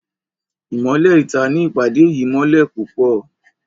Imọlẹ ìta ní ìpàdé yìí mọlẹ pupọ